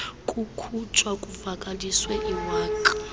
kukhutshwa kuvakaliswe iwaka